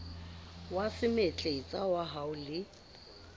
wa semetletsa wa ho le